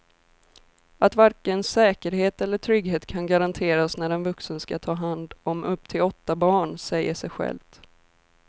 Att varken säkerhet eller trygghet kan garanteras när en vuxen ska ta hand om upp till åtta barn säger sig självt.